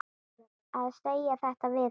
Að segja þetta við hana.